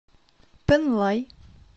пэнлай